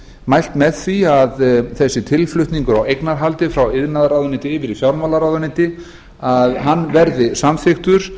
mælt með því að þessi tilflutningur á eignarhaldi frá iðnaðarráðuneyti yfir í fjármálaráðuneyti verði samþykktur